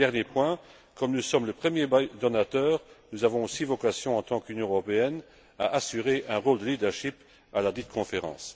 Et, dernier point comme nous sommes le premier donateur, nous avons aussi vocation, en tant qu'Union européenne, à assurer un rôle de leadership à ladite conférence.